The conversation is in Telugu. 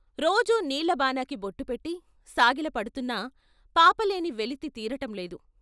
రోజూ నీళ్ళబానకి బొట్టు పెట్టి సాగిల పడుతున్నా పాపలేని వెలితి తీరటంలేదు.